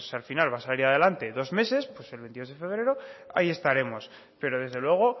al final va a salir adelante dos meses pues el veintidós de febrero ahí estaremos pero desde luego